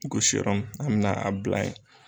Gosi yɔrɔ mun, an bɛna a bila ye.